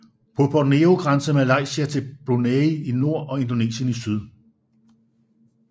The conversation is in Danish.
På Borneo grænser Malaysia til Brunei i nord og Indonesien i syd